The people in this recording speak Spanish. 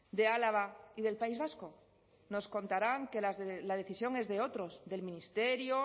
de álava y del país vasco nos contarán que la decisión es de otros del ministerio